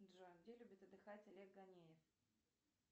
джой где любит отдыхать олег ганеев